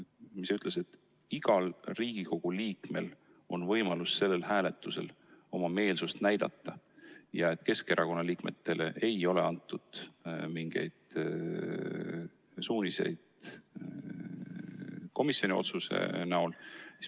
Ta ütles, et igal Riigikogu liikmel on võimalus sellel hääletusel oma meelsust näidata ja et Keskerakonna liikmetele ei ole antud mingeid suuniseid komisjoni otsuse näol.